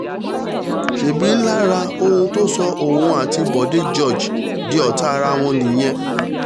ṣebí lára ohun tó sọ òun àti bóde george di ọ̀tá ara wọn nìyẹn